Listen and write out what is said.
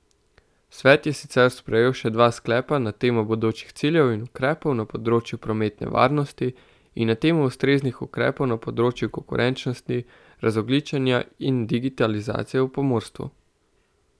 Svet je sicer sprejel še dva sklepa na temo bodočih ciljev in ukrepov na področju prometne varnosti in na temo ustreznih ukrepov na področju konkurenčnosti, razogličenja in digitalizacije v pomorstvu.